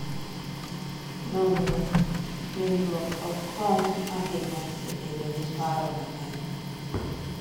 Nonro: Nindruok ok konyo ahinya e bedo gi paro mang’eny